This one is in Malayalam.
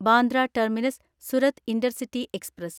Bandra terminus Surat intercity express